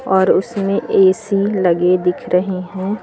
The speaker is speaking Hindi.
और उसमें ए_सी लगे दिख रहे हैं।